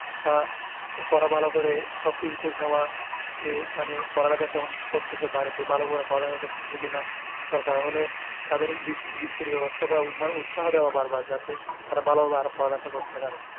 বা পড়া ভালো করে সব কিছু খোঁজ নেওয়া যে সে কেমন পড়ালেখা করতেছে বাড়িতে ভালো করে পড়ালিখা করতেছে কিনা দরকার হলে তাদের বৃত্তির বেবস্থা করা উৎস দেওয়া বার বার যাতে তারা আরো ভালো ভাবে লেখাপড়া করে